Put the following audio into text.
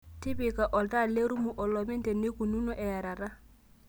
tipika oltaa lerumu olopeny teneikununo earata